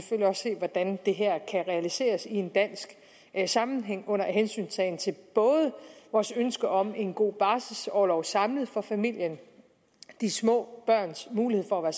hvordan det her kan realiseres i en dansk sammenhæng under hensyntagen til vores ønsker om en god barselorlov samlet for familien de små børns mulighed for at